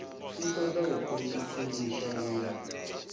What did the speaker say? i ṱoḓa u khwiniswa vhunga